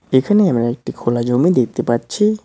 এখানে আমরা একটি খোলা জমি দেখতে পাচ্ছি।